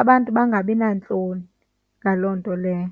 abantu bangabi nantloni ngaloo nto leyo.